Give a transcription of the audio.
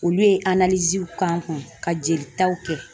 Olu ye k'an kun ka jelitaw kɛ